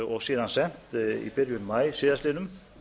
og síðan sent í byrjun maí síðastliðnum